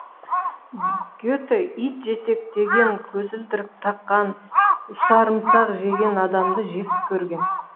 гете ит жетектеген көзілдірік таққан усарымсақ жеген адамды жек көрген